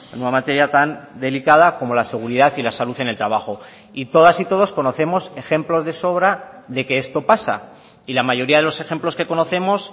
una materia tan delicada como la seguridad y la salud en el trabajo y todas y todos conocemos ejemplos de sobra de que esto pasa y la mayoría de los ejemplos que conocemos